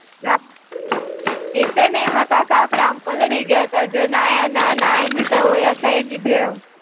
હાં, ઈજ છે ને, એમાં તો આખા આપડે આમ પલળી ગ્યાતા જે નાયા ના નાઈ જ લીધા હોય આખા એની જેમ.